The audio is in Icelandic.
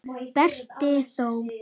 Berti þó!